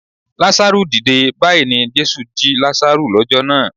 Lazaru dìde! Báyìí ni Jésù jí Lazaru lọ́jọ́ náà.